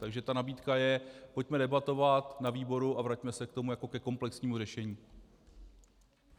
Takže ta nabídka je: pojďme debatovat na výboru a vraťme se k tomu jako ke komplexnímu řešení.